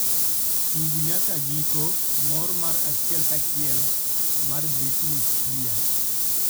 tug fnyaka giko mor mar achiel ka achiel mar britney spear